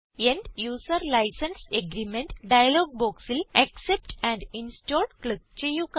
end user licence agreement dialog ബോക്സിൽ accept and install click ചെയ്യുക